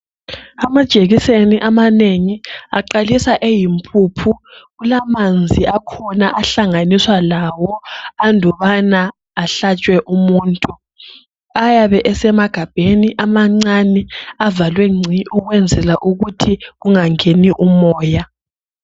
Amajekiseni amanengi aqalisa eyimpuphu kulamanzi akhona ahlanganiswa lawo andubana ahlatshwe umuntu ayabe esemagabheni amancane avaliwe ngci ukwenzela ukuthi kungangeni umoya.